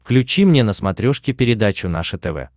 включи мне на смотрешке передачу наше тв